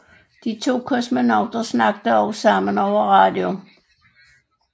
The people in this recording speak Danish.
De to kosmonauter talte også sammen over radio